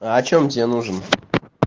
а о чём тебе нужен